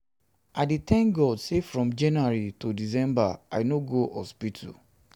i dey tank god sey from january to december i no go hospital.